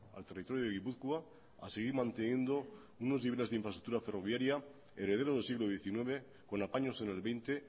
al territorio de gipuzkoa a seguir manteniendo unos niveles de infraestructura ferroviaria herederos del siglo diecinueve con apaños en el veinte